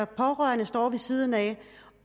pårørende står ved siden af